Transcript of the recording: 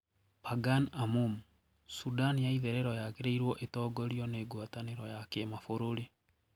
Pagan Amum: Sudan ya itherero yaagĩrĩirwo 'ĩtongorio ni Guataniro ya kĩmabũrũri'